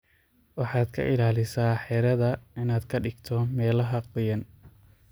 Waxaad ka ilaalisa xiradhaa inaad kadhigto meelaha qoyan.